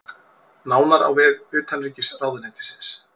Nánar á vef utanríkisráðuneytisins